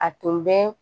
A tun bɛ